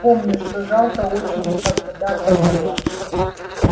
помню что жалко очень когда-то было